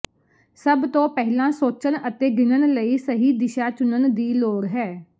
ਸਭ ਤੋਂ ਪਹਿਲਾਂ ਸੋਚਣ ਅਤੇ ਗਿਣਨ ਲਈ ਸਹੀ ਦਿਸ਼ਾ ਚੁਣਨ ਦੀ ਲੋੜ ਹੈ